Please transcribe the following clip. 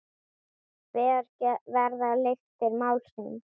Hver verða lyktir málsins Birgir?